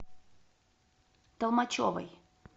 толмачевой